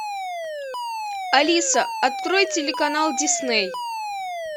алиса открой телеканал дисней